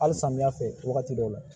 Hali samiyɛ fɛ wagati dɔw la